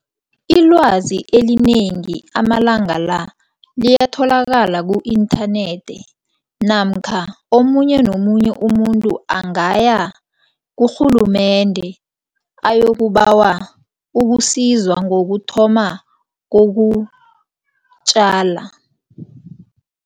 Ilwazi elinengi amalanga la liyatholalakala ku-inthanethi namkha omunye nomunye umuntu angaya kurhulumende ayokubawa ukusizwa ngokuthoma kokutjala.